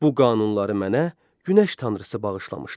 Bu qanunları mənə günəş tanrısı bağışlamışdır.